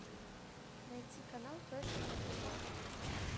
найти канал фэшн на тв